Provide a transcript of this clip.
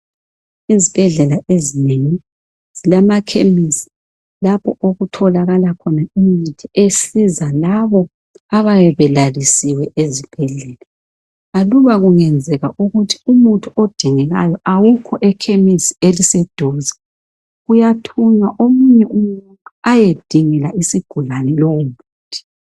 Izibhedlela ezinengi zilamakhemisi ,lapho okutholakala khona imithi esiza labo abayabe belalisiwe ezibhedlela .Aluba kungenzeka ukuthi umuthi odingekayo awukho ekhemisi eliseduze ,kuyathunywa omunye umuntu ayedingela isigulane lowo muthi.